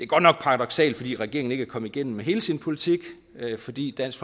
godt nok paradoksalt fordi regeringen ikke er kommet igennem hele sin politik fordi dansk